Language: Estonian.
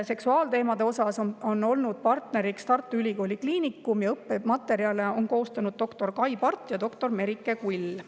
Seksuaalteemade puhul on olnud partner Tartu Ülikooli Kliinikum ja õppematerjale on koostanud doktor Kai Part ja doktor Merike Kull.